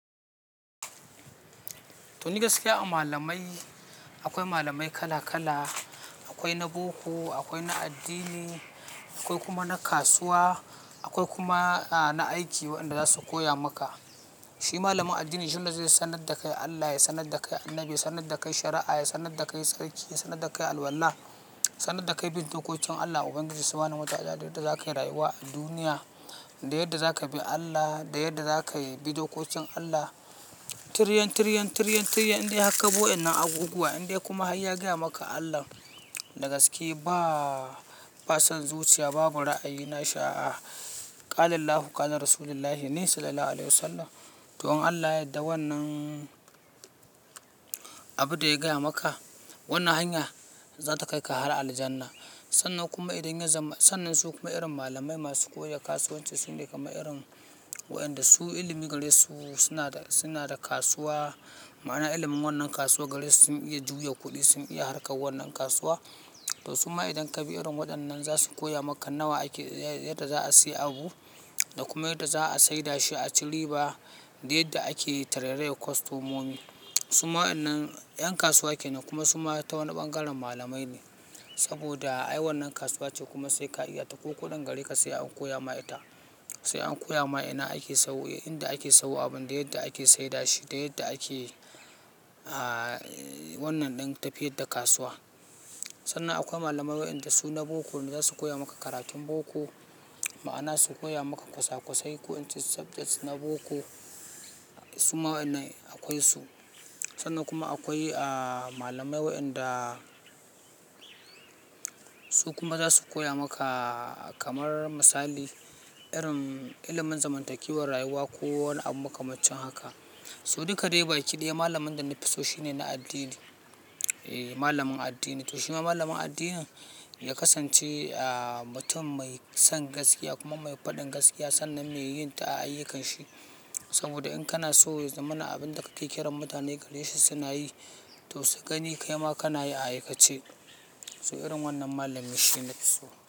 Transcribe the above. To, ni gaskiya a malamai akwai malamai kala kala, akwai na boko, akwai na addini, akwai kuma na kasuwa, akwai kuma na aiki wadanda za su koya maka. Shi malamin addini shi ne zai sanar da kai Allah, ya sanar da kai Annabi, ya sanar da kai shari'a, ya sanar da kai sarki, sanar da kai alwala, sanar da kai bid'okokin Allah, Ubangiji Subhanahu wa Ta'ala da yadda zakayi rayuwa a duniya, da yadda zaka bi Allah, da yadda zakayi bi dokokin Allah. Tiryan, tiryan, tiryan, tiryan indai har ka bi wadanan abubuwa indai kuma hayya gaya maka Allah. Da gaske ba, ba son zuciya, babu ra'ayi na sha'a. Qalallahu Qalar Rasullullahi Sallallahu Alaihi Wasallam. To, in Allah yadda wannan abin da ya gaya maka wannan hanya za ta kai ka har aljannah. Sannan kuma idan ya zama sannan su kuma irin malamai masu koya kasuwanci sune kamar irin wadanda su ilimi gare su suna da, suna da kasuwa. Ma'ana ilimin wannan kasuwa gare su sun iya juya kuɗi, sun iya harka wannan kasuwa. To su ma idan ka bi irin waɗannan za su koya maka nawa ake, yadda za a sayi abu da kuma yadda za a saida shi aci riba, da yadda ake tarairrayar kostomomi. Su ma wannan 'yan kasuwa kenan kuma su ma ta wani bangaren malamai ne. Saboda ai wannan kasuwa ce kuma sai ka iya ta ko kuɗin gare ka sai an koya ma ita. Sai an koya ma ina ake sayo, inda ake sayo abun da yadda ake saida shi, da yadda ake, ah, wannan ɗin tafiyar da kasuwa. Sannan akwai malamai wadanda su na boko ne za su koya maka karatun boko. Ma'ana su koya maka kwasa-kwasai ko wacce subject na boko su ma wannan akwai su. Sannan kuma akwai, ah, malamai wadanda su kuma za su koya maka kamar misali irin ilimin zamantakewar rayuwa ko wani abu makamancin haka. To, dukka dai baki daya malamin da na fi so shine na addini. Eh, malamin addini. To, shi ma malamin addinin ya kasance, ah, mutum mai son gaskiya kuma mai faɗin gaskiya sannan me yin ta a ayyukan shi. Saboda in kana so ya zamana abin da ka yi kiran mutane gare shi suna yi, to, su gani kai ma kana yi a aikace. To, irin wannan malami shi na fi so.